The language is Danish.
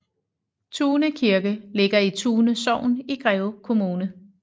Tune Kirke ligger i Tune Sogn i Greve Kommune